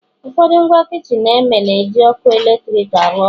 ụfọdụ ngwa kichin eme na-eji ọkụ eletrik arụ ọrụ